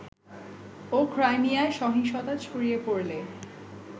ও ক্রাইমিয়ায় সহিংসতা ছড়িয়ে পড়লে